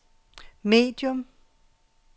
medium